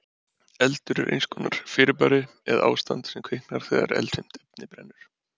Eldur er eins konar fyrirbæri eða ástand sem kviknar þegar eldfimt efni brennur.